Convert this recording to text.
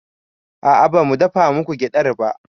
A'a bamu dafa muku gyaɗar ba